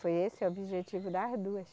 Foi esse o objetivo, das duas.